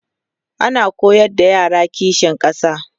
ana koyar da yara kishin ƙasa